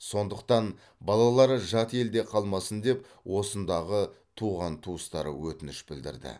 сондықтан балалары жат елде қалмасын деп осындағы туған туыстары өтініш білдірді